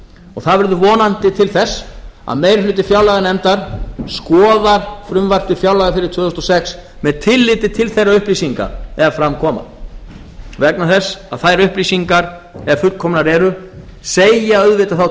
og það verður vonandi til þess að meiri hluti fjárlaganefndar skoðar frumvarp til fjárlaga fyrir tvö þúsund og sex með tilliti til þeirra upplýsinga ef fram koma vegna þess að þær upplýsingar ef fullkomnar eru segja þá auðvitað